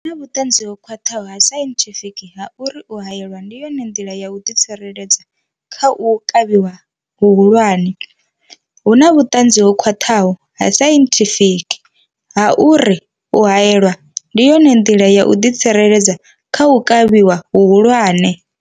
Hu na vhuṱanzi ho khwaṱhaho ha sainthifiki ha uri u haelwa ndi yone nḓila ya u ḓi tsireledza kha u kavhiwa hu hulwane. Hu na vhuṱanzi ho khwaṱhaho ha sainthifiki ha uri u haelwa ndi yone nḓila ya u ḓi tsireledza kha u kavhiwa hu hulwane.